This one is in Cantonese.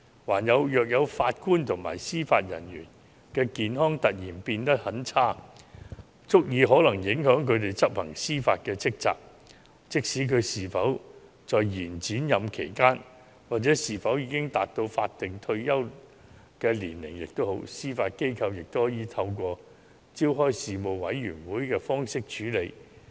如某位法官或司法人員的健康情況突然變得很差，可能足以影響他執行司法職責，無論是否在延展任期期間或是否已達到法定退休年齡，司法機構也可透過召開醫事委員會處理。